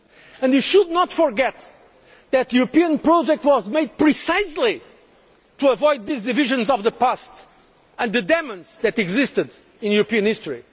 history. And we should not forget that the European project was made precisely to avoid the divisions of the past and the demons that existed in European